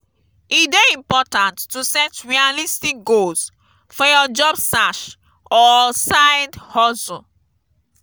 e dey important to set realistic goals for your job search or side-hustle.